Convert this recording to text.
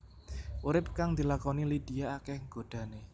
Urip kang dilakoni Lydia akéh godhané